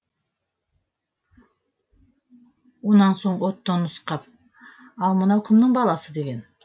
онан соң оттоны нұсқап ал мынау кімнің баласы деген